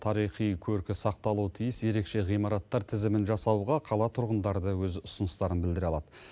тарихи көркі сақталуы тиіс ерекше ғимараттар тізімін жасауға қала тұрғындары да өз ұсыныстарын білдіре алады